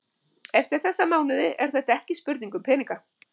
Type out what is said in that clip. Eftir þessa mánuði er þetta ekki spurning um peninga.